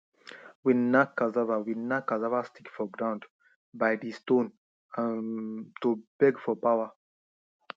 we knack cassava we knack cassava stick for ground by di stone um to beg for power